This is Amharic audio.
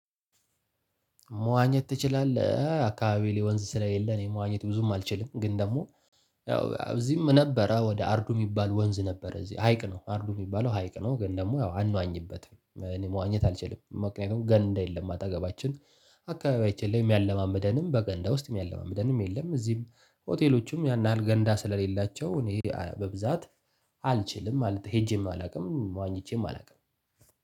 መዋኘት ትችላለህ አካባቢዬ ላይ ወንዝ ስለሌለ ነው መዋኘት ብዙም አልችልም ግን ደግሞ። ያው እዚህም ነበረ ወደ አርዱ የሚባል ወንዝ ነበረ እዚህ ሀይቅ ነው አርዱ የሚባለው ሀይቅ ነው ግን ደግሞ ያው አንዋኝበትም እኔ መዋኘት አልችልም። ምክንያቱም ገንዳ የለም አጠገባችን አካባቢያችን ላይ ሚያለማምደንም በገንዳ ውስጥ ሚያለማምደንም የለም። እዚህም ሆቴሎቹም ያን ያህል ገንዳ ስለሌላቸው እኔ በብዛት አልችልም ማለት ሄጄም አላውቅም ዋኝቼም አላውቅም።